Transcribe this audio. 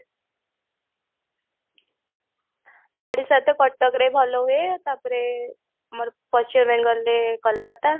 ଓଡିଶା ତ କଟକରେ ଭଲ ହୁଏ ତାପରେ ଆମର ପଶ୍ଚିମ ବେଙ୍ଗଲରେ କୋଲକାତା